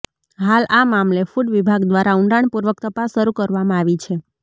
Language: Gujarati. હાલ આ મામલે ફૂડ વિભાગ દ્વારા ઊંડાણપૂર્વક તપાસ શરૂ કરવામાં આવી છે